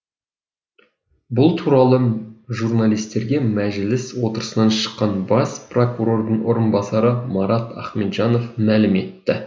бұл туралы журналистерге мәжіліс отырысынан шыққан бас прокурордың орынбасары марат ахметжанов мәлім етті